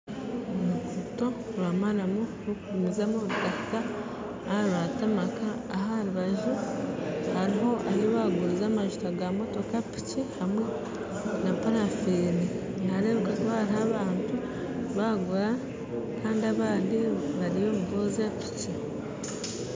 Oruguto rwa maramu rurikugumizamu rukahika aha rwa koraasi aho aha rubaju hariho ahi barikuguriza amajuta g'emotoka, piki hamwe na parafiini nihareebeka kuba hariho abantu barikugura kandi abandi bariyo niboozya piki